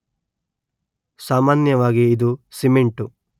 ಸಾಮಾನ್ಯವಾಗಿ ಇದು ಸಿಮೆಂಟು